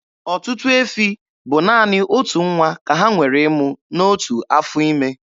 Ọtụtụ efi bụ naanị otu nwa ka ha nwere ịmụ n'otu afọ ime.